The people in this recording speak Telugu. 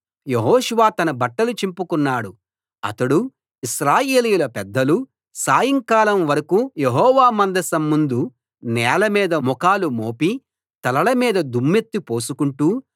యెహోషువ తన బట్టలు చింపుకున్నాడు అతడూ ఇశ్రాయేలీయుల పెద్దలూ సాయంకాలం వరకూ యెహోవా మందసం ముందు నేలమీద ముఖాలు మోపి తలల మీద దుమ్మెత్తి పోసుకొంటూ